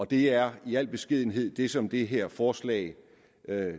det er i al beskedenhed det som det her forslag